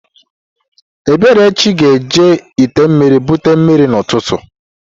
Eberechi ga-eji ite mmiri bute mmiri n'ụtụtụ